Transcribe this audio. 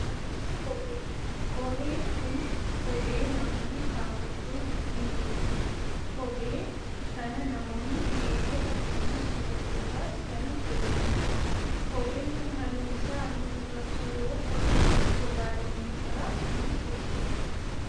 Kophee, kooheen kun kophee namoonni kaawwachuun ittiin deemanidha . Kophee kana namoonni dhiirotaas akkasumas dubartootaas kan kaawwatanidha. Kopheen kun halluun isaa halluu gurraacha yoo ta'u gogaa loonii irraa kan hojjatamedha.